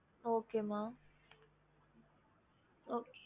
yes mam அதுக்குஅப்புறம்